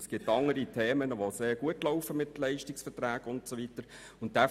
Es gibt andere Themen, die mit Leistungsverträgen sehr gut laufen.